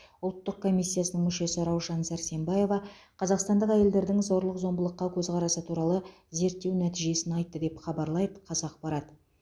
ұлттық комиссиясының мүшесі раушан сәрсембаева қазақстандық әйелдердің зорлық зомбылыққа көзқарасы туралы зерттеу нәтижесін айтты деп хабарлайды қазақпарат